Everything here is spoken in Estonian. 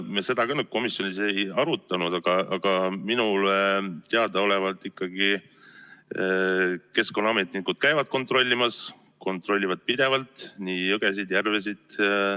Me seda komisjonis ei arutanud, aga minule teadaolevalt käivad keskkonnaametnikud ikka kontrollimas, kontrollivad pidevalt nii jõgesid kui ka järvesid.